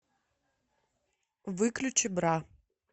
выключи бра